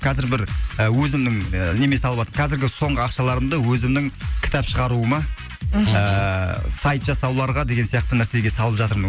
қазір бір і өзімнің і неме қазіргі соңғы ақшаларымды өзімнің кітап шығаруыма мхм ыыы сайт жасауларға деген сияқты нәрсеге салып жатырмын